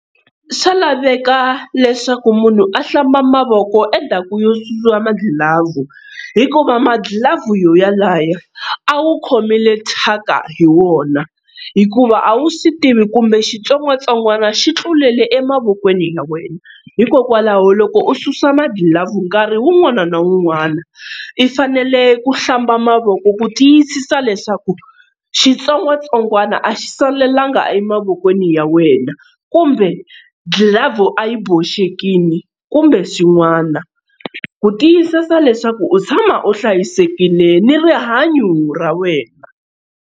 Swa laveka leswaku munhu a hlamba mavoko endzhaku ko susa magilavhu hikuva magilavhu yo yalaye a wu khomile thyaka hi wona hikuva a wu swi tivi kumbe xitsongwatsongwana xi tlulele emavokweni ya wena hikokwalaho loko u susa magilavhu nkarhi wun'wana na wun'wana i fanele ku hlamba mavoko ku tiyisisa leswaku xitsongwatsongwana a xi salelanga emavokweni ya wena kumbe gilavhu a yi boxekini kumbe swin'wana ku tiyisisa leswaku u tshama u hlayisekile ni rihanyo ra wena.